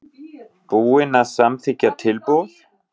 Búinn að samþykkja tilboð?